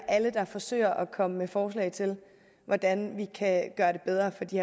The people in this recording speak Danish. alle der forsøger at komme med forslag til hvordan vi kan gøre det bedre for de